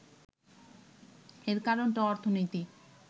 এর কারণটা অর্থনৈতিক